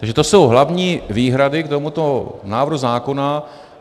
Takže to jsou hlavní výhrady k tomuto návrhu zákona.